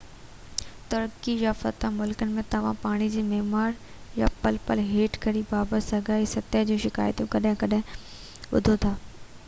ترقي يافته ملڪن ۾ توهان پاڻي جي معيار يا پل پُل هيٺ ڪرڻ بابت ساڳئي سطح جون شڪايتون ڪڏهن ڪڏهن ٻڌو ٿا